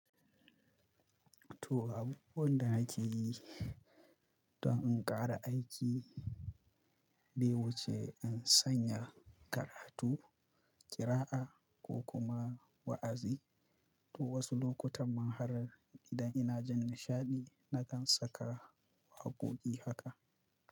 To, abubuwan da nake yi don in ƙara aiki bai wuce in sanya karatu, ƙira'a ko kuma wa'azi. To wasu lokutan man har idan ina jin nishaɗi na kan saka waƙoƙi haka.